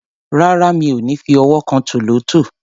Rárá, mi ò ní fi ọwọ́ kan tòlótòó.